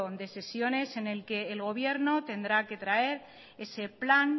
de sesiones en el que el gobierno tendrá que traer ese plan